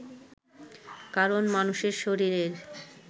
কারণ, মানুষের শরীরের